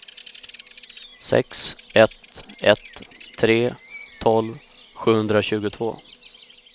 sex ett ett tre tolv sjuhundratjugotvå